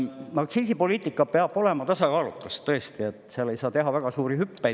Aktsiisipoliitika peab olema tasakaalukas, tõesti, seal ei saa teha väga suuri hüppeid.